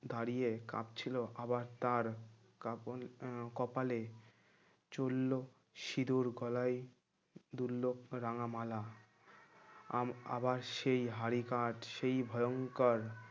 দাঁড়িয়ে কাঁপছিল আবার তার কাপন আহ কপালে চলল সিঁদুর গলায় দুললো রাঙা মালা আম আবার সেই হাড়ি কার্ড সেই ভয়ংকর